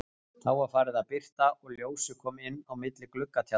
Þá var farið að birta og ljósið kom inn á milli gluggatjaldanna.